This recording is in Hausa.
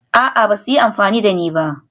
A'a, ba su yi amfani da ni ba